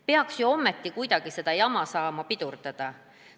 Peaks ju saama kuidagi sellist jama pidurdada.